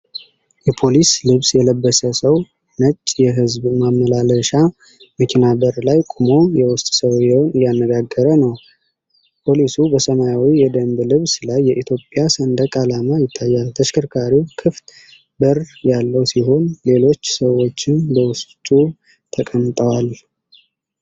የፖሊስ ልብስ የለበሰ ሰው ነጭ የሕዝብ ማመላለሻ መኪና በር ላይ ቆሞ የውስጥ ሰዎችን እያነጋገረ ነው። ፖሊሱ በሰማያዊ የደንብ ልብስ ላይ የኢትዮጵያ ሰንደቅ ዓላማ ይታያል። ተሽከርካሪው ክፍት በር ያለው ሲሆን ሌሎች ሰዎችም በውስጡ ተቀምጠዋል።